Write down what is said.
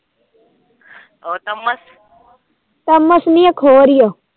Thums ਨੀ ਇੱਕ ਹੋਰ ਹੀ ਆ